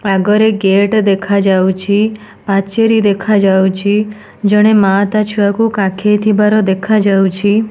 ଆଗରେ ଗେଟ ଦେଖାଯାଉଚି ପାଚେରୀ ଦେଖାଯାଉଚି ଜଣେ ମାଆ ତା ଛୁଆକୁ କାଖେଇ ଥିବାର ଦେଖାଯାଉଚି।